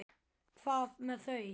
Hvað með þau?